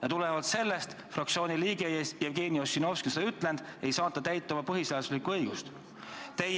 Ja tulenevalt sellest ka meie fraktsiooni liige Jevgeni Ossinovski ei saanud teostada oma põhiseaduslikku õigust, nagu ta ütles.